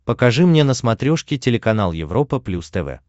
покажи мне на смотрешке телеканал европа плюс тв